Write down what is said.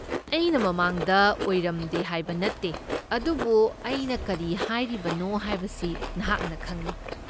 ꯑꯩꯅ ꯃꯃꯥꯡꯗ ꯑꯣꯏꯔꯝꯗꯦ ꯍꯥꯏꯕ ꯅꯠꯇꯦ, ꯑꯗꯨꯕꯨ ꯑꯩꯅ ꯀꯔꯤ ꯍꯥꯏꯔꯤꯕꯅꯣ ꯍꯥꯏꯕꯁꯤ ꯅꯍꯥꯛꯅ ꯈꯪꯏ꯫